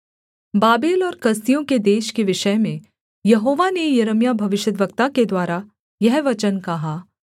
Babel और कसदियों के देश के विषय में यहोवा ने यिर्मयाह भविष्यद्वक्ता के द्वारा यह वचन कहा